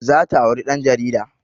Za ta auri ɗan jarida